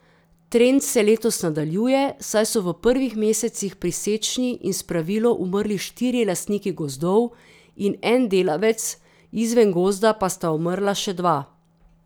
Trend se letos nadaljuje, saj so v prvih mesecih pri sečnji in spravilu umrli štirje lastniki gozdov in en delavec, izven gozda pa sta umrla še dva.